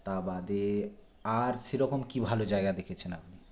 তা বাদে আর সেরকম কী ভালো জায়গা দেখেছেন আপনি